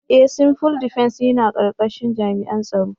Ee! Civil Defence yana karkashin jami'an tsaro.